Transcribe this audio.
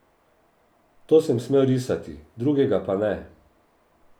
To sem smel risati, drugega pa ne.